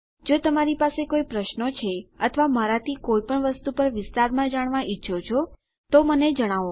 જો તમારી પાસે કોઈ પ્રશ્નો છે અથવા મારાથી કોઈપણ વસ્તુ પર વિસ્તારમાં જાણવા ઈચ્છો છો તો મને જણાવો